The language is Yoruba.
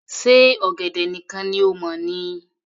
Ṣe ọ̀gẹ̀dẹ̀ nìkan ni o mọ̀ ni